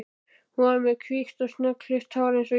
Hún var með hvítt og snöggklippt hár eins og ég.